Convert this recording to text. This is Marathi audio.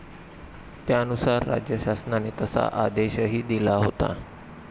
त्यानुसार राज्यशासनाने तसा आदेशही दिला होता.